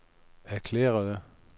erklærede